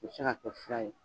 O bi se ka kɛ fura ye